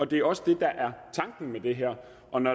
det er også det der er tanken med det her